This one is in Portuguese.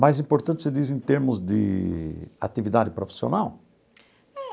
Mais importante, você diz em termos de atividade profissional? É.